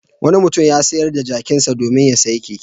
Wani mutum ya sayar da jakinsa domin ya sayi keke.